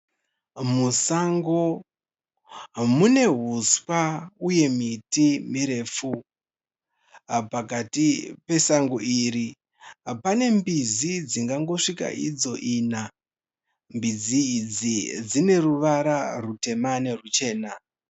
Musango mune huswa uye miti mirefu. Pakati pesango iri pane mbizi dzingangosvika idzo ina. Mbizi idzi dzine ruvara rutema neruchena.